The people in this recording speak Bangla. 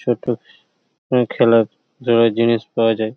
ছোট আ খেলার দেওয়ার জিনিস পাওয়া যায়।